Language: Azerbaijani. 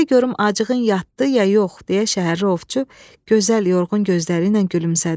Birdə görüm acığın yatdı ya yox, deyə şəhərli ovçu gözəl yorğun gözləri ilə gülümsədi.